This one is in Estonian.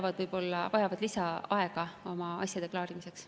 Nad võib-olla vajavad lisaaega oma asjade klaarimiseks.